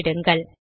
உள்ளிடுங்கள்